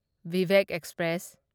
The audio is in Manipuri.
ꯚꯤꯚꯦꯛ ꯑꯦꯛꯁꯄ꯭ꯔꯦꯁ